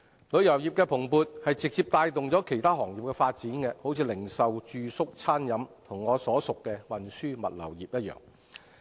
旅遊業的蓬勃直接帶動其他行業的發展，例如零售、住宿、餐飲及我所屬的運輸和物流業。